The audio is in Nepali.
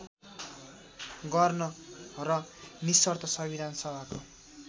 गर्न र निशर्त संविधानसभाको